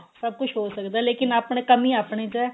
ਸਭ ਕੁੱਝ ਹੋ ਸਕਦਾ ਲੇਕਿਨ ਆਪਣੇ ਕਮੀ ਆਪਣੇ ਚ ਏ